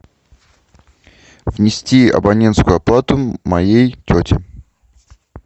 внести абонентскую плату моей тете